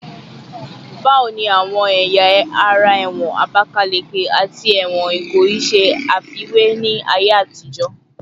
Bawo ni awọn ẹya ara ẹwọn Abakaleke ati ẹwọn Ikoyi ṣe afiwe ni aye atijo?